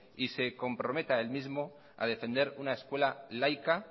y se comprometa a él mismo a defender una escuela laica